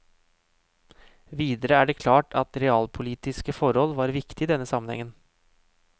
Videre er det klart at realpolitiske forhold var viktige i denne sammenhengen.